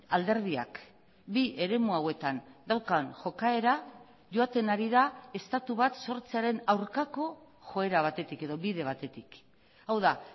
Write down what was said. alderdiak bi eremu hauetan daukan jokaera joaten ari da estatu bat sortzearen aurkako joera batetik edo bide batetik hau da